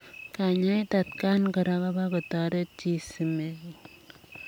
Kanyaet atakaan koraa kopaa kotoret chii simenguung ak